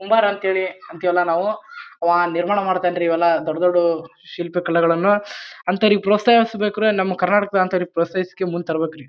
ಕುಂಬಾರ ಅಂಥೇಳಿ ಅಂತೀವಲ್ಲ ನಾವು ಆವಾ ನಿರ್ಮಾಣ ಮಾಡಿತಾನ್ ರೀ ಇವೆಲ್ಲ ದೊಡ್ಡ ದೊಡ್ದು ಶಿಲ್ಪಿ ಕಲೆಗಳನ್ನು. ಅಂಥವ್ರಿಗೆ ಪ್ರೋತ್ಸಾಹಿಬೇಕು ನನಮ್ ಕರ್ನಾಟಕ ಅಂಥವ್ರಿಗ್ ಪ್ರೋತ್ಸಾಹಿಸಿ ಮುಂದ್ ತರಬೇಕ್ರಿ.